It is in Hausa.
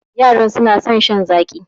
Yaran suna son shan zaƙi